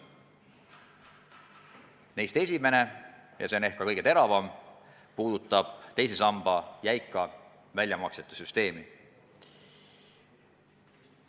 Neist esimene, ja see on ehk ka kõige teravam probleem, puudutab teise samba jäika väljamaksete süsteemi.